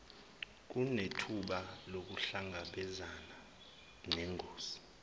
kunethuba lokuhlangabezana nengozi